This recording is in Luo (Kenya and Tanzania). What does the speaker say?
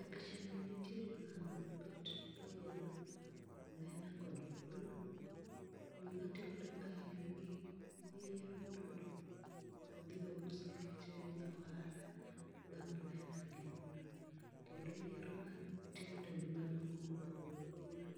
E pichani nitiere mama mobet mayiero omena kod fulu. Gima timore kae en ni oyierogi modo odhi ous nikech en ja ohala mar omena gi kendo oyiero matindo gi madongo mopogore opogore.